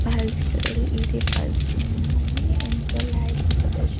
bulbs L E D bulbs ఉన్నాయి ఎంతో